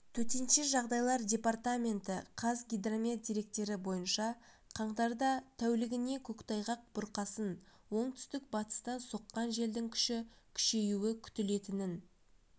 төтенше жағдайлар департаменті қазгидромет деректері бойынша қаңтарда тәулігіне көктайғақ бұрқасын оңтүстік-батыстан соққан желдің күші күшеюі күтілетінін